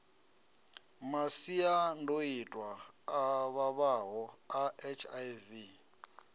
masiandoitwa a vhavhaho a hiv